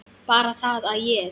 Bara það að ég.